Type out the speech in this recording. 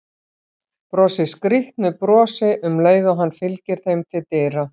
Brosir skrýtnu brosi um leið og hann fylgir þeim til dyra.